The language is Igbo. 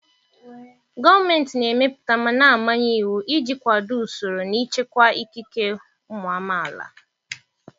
Gọọmenti na-emepụta ma na-amanye iwu iji kwado usoro na ichekwa ikike ụmụ amaala